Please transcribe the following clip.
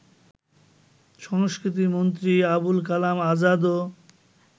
সংস্কৃতি মন্ত্রী আবুল কালাম আযাদও